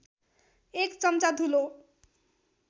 एक चम्चा धुलो